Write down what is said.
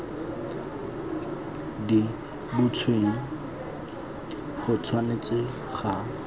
di butsweng go tshwanetse ga